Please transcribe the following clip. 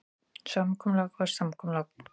Samkomulag var samkomulag.